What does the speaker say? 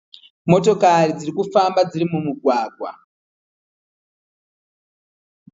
Motokari dzirikufamba dziri mumugwagwa.